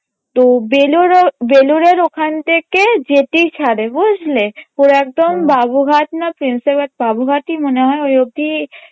তো বেলুরও বেলুরের ওখান থেকে জেটি ছাড়ে বুঝলে করে একদম বাবুঘাট না প্রিন্সেপ ঘাট, বাবুঘাটই মনে হয় যদি